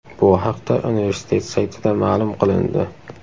Bu haqda universitet saytida ma’lum qilindi.